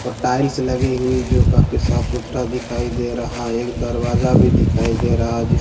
और टाइल्स लगी हुई जो काफी साफ़ सूथरा दिखाई दे रहा है एक दरवाज़ा भी दिखाई दे रहा है जिसमे का--